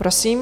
Prosím.